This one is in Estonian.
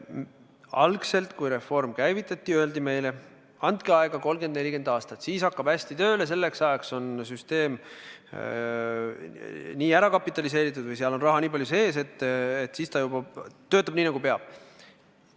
Algselt, kui reform käivitati, öeldi meile, andke aega 30–40 aastat, siis kõik hakkab hästi tööle, selleks ajaks on süsteem nii ära kapitaliseeritud või seal on raha nii palju sees, et siis kõik juba töötab nii, nagu peab.